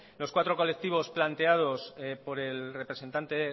los cuatro colectivos planteados por el representante